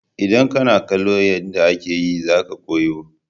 Idan kana kallon yanda ake yi za ka koyi.